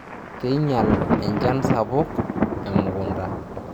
keinyial enchan sapuk emukunta